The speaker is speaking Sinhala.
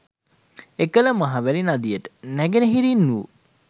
එකල මහවැලි නදියට නැගෙනහිරින් වූ